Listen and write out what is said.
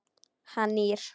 Hann nýr.